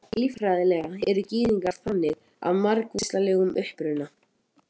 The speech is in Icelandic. Líffræðilega eru Gyðingar þannig af margvíslegum uppruna.